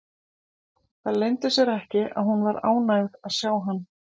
Það leyndi sér ekki að hún var ánægð að sjá hann.